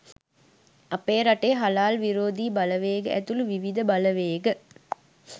අපේ රටේ හලාල් විරෝධී බලවේග ඇතුළු විවිධ බලවේග